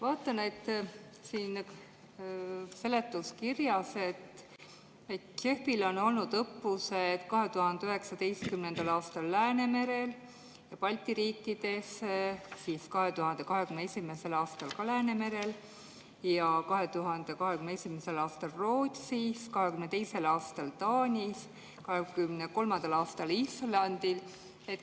Vaatan siin seletuskirjast, et JEF‑il on olnud õppused 2019. aastal Läänemerel ja Balti riikides, 2021. aastal ka Läänemerel ja 2021. aastal Rootsis, 2022. aastal Taanis, 2023. aastal Islandil.